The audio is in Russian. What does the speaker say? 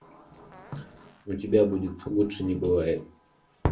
у тебя будет лучше не бывает